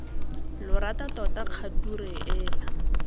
lo rata tota kgature ena